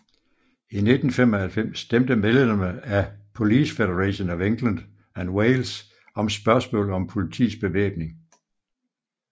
I 1995 stemte medlemmerne af Police Federation of England and Wales om spørgsmålet om politiets bevæbning